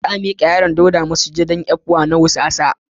Za a mika yaron Dauda Wanan lahadi a masujadan ecwa na wusasa.